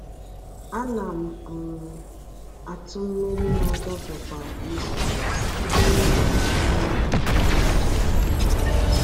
A na m um atụ mmiri na-agafe kwa izu site n’iji akpa mmiri nke a tụrụ kpọmkwem.